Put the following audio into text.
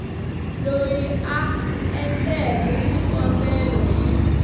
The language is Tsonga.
loyi a endleke xikombelo hi